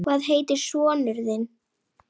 Kremur fingur mína.